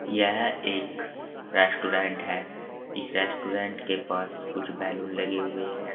यह एक रेस्टोरेंट है। इस रेस्टोरेंट के पास कुछ बैलून लगे हुए हैं।